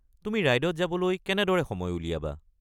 তুমি ৰাইডত যাবলৈ কেনেদৰে সময় উলিয়াবা?